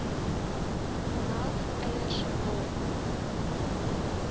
melk eiers wol